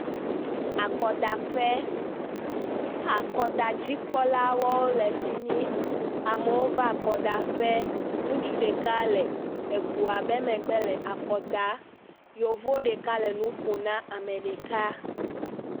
Akɔdaƒe. akɔdzikpɔlawo le fi mi. amewo va akɔdaƒe. Ŋutsu ɖeka le egoa ƒe megbe le akɔ dam. Yevu ɖeka le nu ƒom na ame ɖeka.